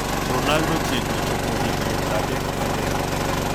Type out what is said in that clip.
Ronaldo chiegni chopo higni 33